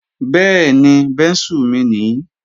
Bẹ́ẹ̀ni, bẹ́ńsù mi nii